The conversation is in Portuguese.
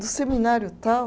Do seminário tal?